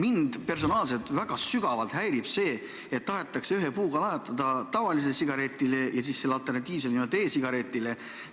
Mind personaalselt häirib väga sügavalt see, et tahetakse ühe puuga lajatada tavalisele sigaretile ja sellele alternatiivsele e-sigaretile.